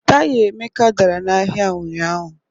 Taya Emeka dara n'ahịa ụnyahụ